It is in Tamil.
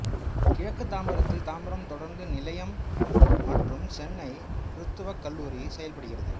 கிழக்கு தாம்பரத்தில் தாம்பரம் தொடருந்து நிலையம் மற்றும் சென்னை கிறித்துவக் கல்லூரி செயல்படுகிறது